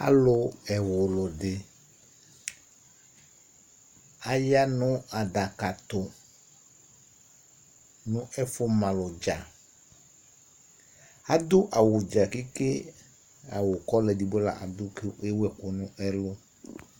Alʋ ɛwlu di Aya nʋ adaka tu nʋ ɛfʋ malu dza Adu awu dza keke Awu kɔɔla ɛdigbo la adu kʋ ewu ɛku nʋ ɛlu